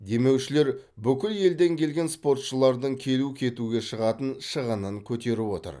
демеушілер бүкіл елден келген спортшылардың келу кетуге шығатын шығынын көтеріп отыр